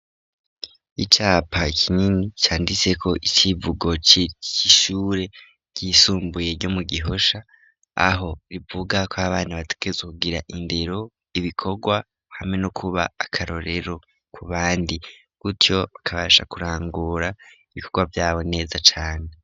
Icapa kinini canditseko icivugo c'ishure ryisumbuye ryo mu gihosha, aho rivuga ko abana bategerezwa kugira indero ibikorwa hamwe no kuba akarorero ku bandi, gutyo bakabasha kurangura ibikorwa vyabo neza cane.